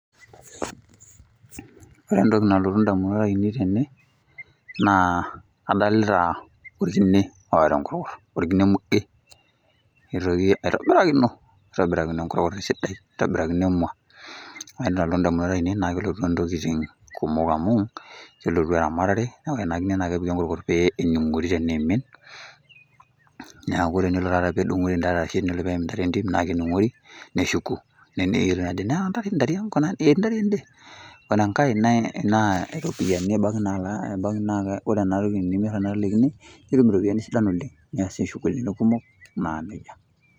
Ore entoki nalotu ndamunot ainei tene naa adolita orkine oata enkorkor, orkine muge nitoki aitobirakino aitobirakino nkorkor esidai, nitobirakino emua naa ore entoki nalotu ndamunot ainei naake elotu ntokitin kumok amu, kelotu eramatare neeku kore ena kine kepiki enkorkor pee ening'ori teneimin, neeku enelo taata pee edung'ori ntare arashe enlo neim intare entim naake ening'ori neshuku nelimu ajo nena ntare ntariang' eti ntare ende. Ore enkae naa iropiani ebaki nala ebaki naake ore enatoki enimir tenakata ele kine nitum iropiani sidan oleng' niasie shughuli kumok naa neja.